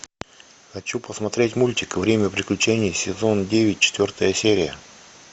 хочу посмотреть мультик время приключений сезон девять четвертая серия